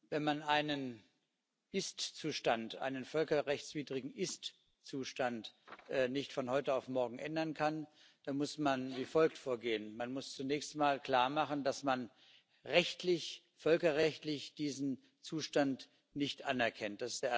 Wenn man einen völkerrechtswidrigen Ist Zustand nicht von heute auf morgen ändern kann, muss man wie folgt vorgehen Man muss zunächst mal klarmachen, dass man rechtlich, völkerrechtlich diesen Zustand nicht anerkennt.